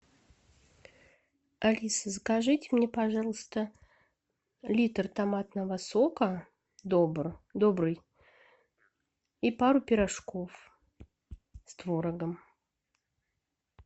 алиса закажите мне пожалуйста литр томатного сока добрый и пару пирожков с творогом